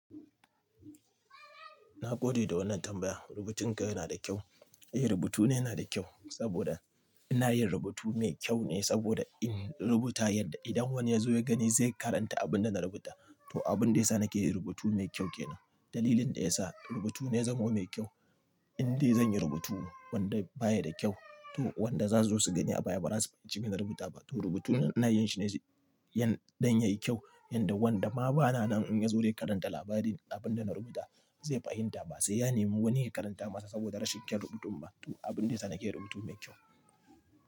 Na gode da wannan tambaya. Rubutun ka yana da kyau? Eh, rubutu na yana da kyau saboda ina yin rubutu mai kyau ne saboda in rubuta yadda idan wani ya zo ya gani zai karanta abin da na rubuta. To abin da ya sa nake yi rubutu mai kyau ke nan. Dalilin da ya sa rubutu na ya zamo mai kyau, in dai zan yi rubutu wanda baya da kyau to wanda za su zo su gani a baya ba za su fahimci abin da na rubuta ba. To rubutun da ina yin shi ne don yayi kyau yanda wanda ma bana nan in ya zo ya karanta labarin abin da na rubuta zai fahimta ba sai ya nemi wani ya karanta masa saboda rashin iya rubutun ba. To abin da ya sa nake yi rubutu mai kyau.